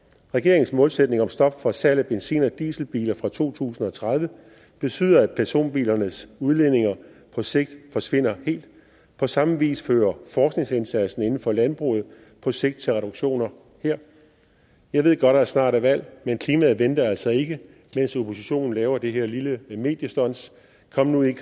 regeringens målsætning om stop for salg af benzin og dieselbiler fra to tusind og tredive betyder at personbilernes udledninger på sigt forsvinder helt på samme vis fører forskningsindsatsen inden for landbruget på sigt til reduktioner her jeg ved godt at der snart er valg men klimaet venter altså ikke mens oppositionen laver det her lille mediestunt kom nu ind